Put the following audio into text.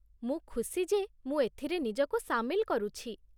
ମୁଁ ଖୁସି ଯେ ମୁଁ ଏଥିରେ ନିଜକୁ ସାମିଲ କରୁଛି।